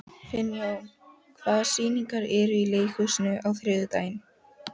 Finnjón, hvaða sýningar eru í leikhúsinu á þriðjudaginn?